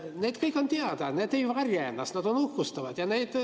Need kõik on teada, nad ei varja ennast, nad uhkustavad sellega.